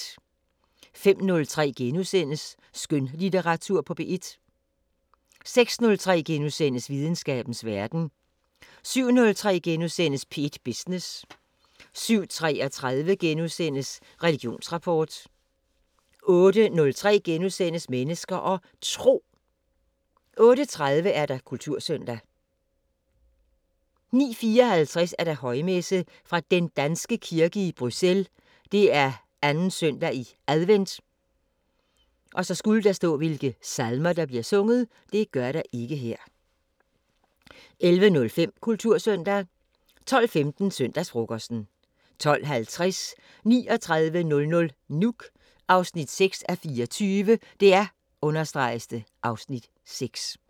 05:03: Skønlitteratur på P1 * 06:03: Videnskabens Verden * 07:03: P1 Business * 07:33: Religionsrapport * 08:03: Mennesker og Tro * 08:30: Kultursøndag 09:54: Højmesse - Fra Den Danske Kirke i Bruxelles. 2. søndag i advent Salmer: 11:05: Kultursøndag 12:15: Søndagsfrokosten 12:50: 3900 Nuuk 6:24 (Afs. 6)